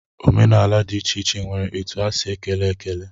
Omenaala dị iche iche nwere otu ha si ekele ekele.